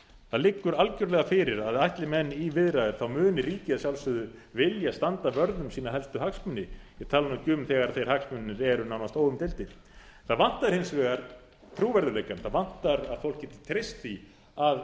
það liggur algjörlega fyrir að ætli menn í viðræður muni ríkið að sjálfsögðu vilja standa vörð um sína helstu hagsmuni ég tala nú ekki um þegar þeir hagsmunir eru nánast óumdeildir það vantar hins vegar trúverðugleikann það vantar að fólk geti treyst því að